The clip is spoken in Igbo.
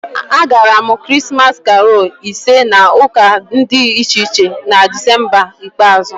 Agara m Krismas karolu ise na ụka dị iche iche na Desemba ikpeazụ